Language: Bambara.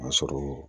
A sɔrɔ